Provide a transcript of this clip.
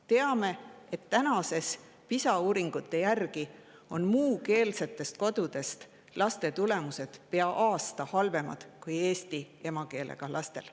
Teame, et PISA uuringute järgi on muukeelsetest kodudest pärit laste tulemused pea aasta eesti emakeelega lastega.